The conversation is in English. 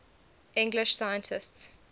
english scientists